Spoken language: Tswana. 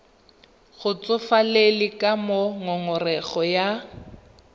kgotsofalele ka moo ngongorego ya